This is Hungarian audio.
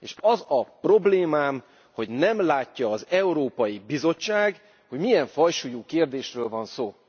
És az a problémám, hogy nem látja az Európai Bizottság, hogy milyen fajsúlyú kérdésről van szó.